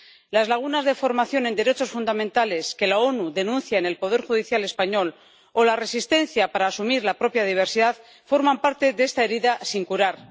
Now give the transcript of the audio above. Las lagunas de formación en derechos fundamentales, que las Naciones Unidas denuncian en el poder judicial español, o la resistencia para asumir la propia diversidad, forman parte de esta herida sin curar.